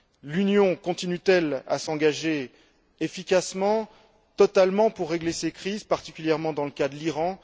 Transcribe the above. L'Union continue t elle à s'engager efficacement, totalement, pour régler ces crises, particulièrement dans le cas de l'Iran?